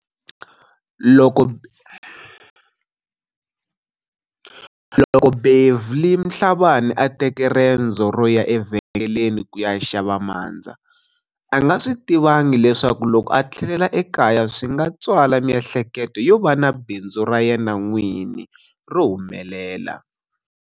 Loko Beverly Mhlabane a teke rendzo ro ya evhengeleni ku ya xava mandza, a nga swi tivangi leswaku loko a tlhelela ekaya swi nga tswala miehleketo yo va na bindzu ra yena n'wini ro humelela.